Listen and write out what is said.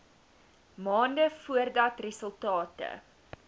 maande voordat resultate